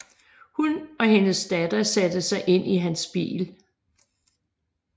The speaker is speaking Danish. Hun og hendes datter satte sig ind i hans bil